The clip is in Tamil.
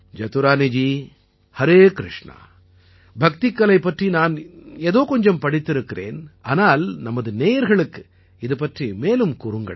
ஜதுரானிஜி ஹரே கிருஷ்ணா பக்திக்கலை பற்றி நான் ஏதோ கொஞ்சம் படித்திருக்கிறேன் ஆனால் நமது நேயர்களுக்கு இது பற்றி மேலும் கூறுங்கள்